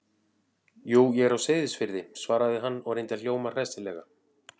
Jú, ég er á Seyðisfirði- svaraði hann og reyndi að hljóma hressilega.